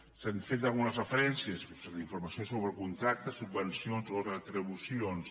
s’han fet algunes referències sobre la informació sobre contractes subvencions o retribucions